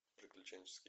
приключенческий